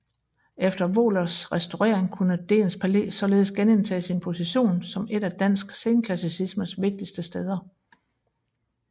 Efter Wohlerts restaurering kunne Dehns Palæ således genindtage sin position som et af dansk senklassicismes vigtigste steder